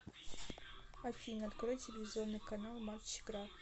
афина открой телевизионный канал матч игра